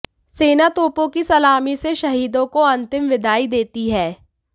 सेना तोपों की सलामी से शहीदों को अंतिम विदाई देती है